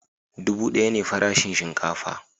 Dubu daya ne farashin shinkafa